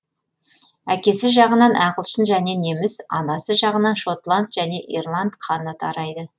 әкесі жағынан ағылшын және неміс анасы жағынан шотланд және ирланд қаны тарайды